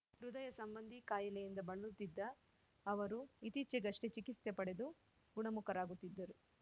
ಹೃದಯ ಸಂಬಂಧಿ ಕಾಯಿಲೆಯಿಂದ ಬಳಲುತ್ತಿದ್ದ ಅವರು ಇತ್ತೀಚೆಗಷ್ಟೇ ಚಿಕಿಸ್ತೆ ಪಡೆದು ಗುಣಮುಖರಾಗುತ್ತಿದ್ದರು